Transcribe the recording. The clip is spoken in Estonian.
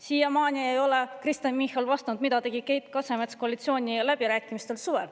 Siiamaani ei ole Kristen Michal vastanud, mida tegi Keit Kasemets suvistel koalitsiooniläbirääkimistel.